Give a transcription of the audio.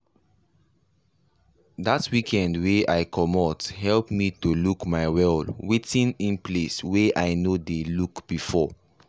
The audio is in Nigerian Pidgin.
that weekend wey i comot help me to look my well wetin in place wey i no dey look before.